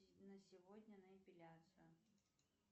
на сегодня на эпиляцию